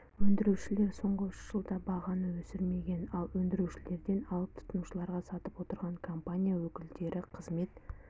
өндірушілер соңғы үш жылда бағаны өсірмеген ал өндірушілерден алып тұтынушыларға сатып отырған компания өкілдері қызмет